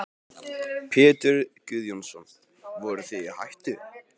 Pétur Guðjónsson: Voruð þið í hættu?